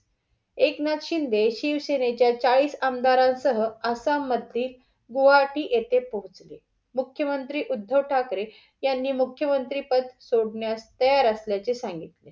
एकनाथ शिंदे शिवसेनेच्या चाळीस आमदारां सह आसाम मध्ये गुहवाटी येथे पोचले. मुख्य मंत्री उद्धव ठाकरे यांनी मुख्य मंत्री पद सोडण्यास तयार असल्याचे सांगितले.